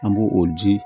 An b'o o di